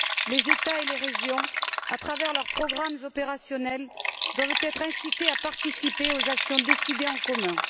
Les États et les régions, à travers leurs programmes opérationnels, doivent être incités à participer aux actions décidées en commun.